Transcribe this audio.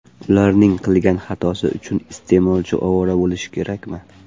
Ularning qilgan xatosi uchun iste’molchi ovora bo‘lishi kerakmi?